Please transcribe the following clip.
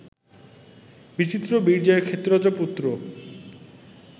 বিচিত্রবীর্যের ক্ষেত্রজ পুত্র